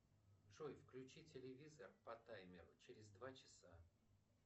джой включи телевизор по таймеру через два часа